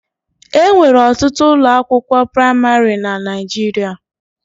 E nwere ọtụtụ ụlọakwụkwọ praịmarị na Naịjirịa.